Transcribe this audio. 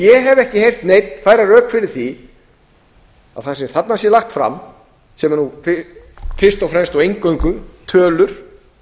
ég hef ekki heyrt neinn færa rök fyrir því að það sem þarna er lagt fram sem er nú fyrst og fremst og eingöngu tölur